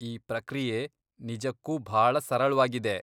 ಈ ಪ್ರಕ್ರಿಯೆ ನಿಜಕ್ಕೂ ಭಾಳ ಸರಳ್ವಾಗಿದೆ.